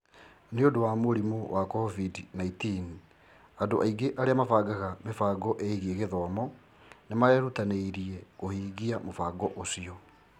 Nĩ ũndũ wa mũrimũ wa COVID-19, andũ aingĩ arĩa mabangaga mĩbango ĩgiĩ gĩthomo nĩ marerutanĩirie kũhingia mũbango ũcio.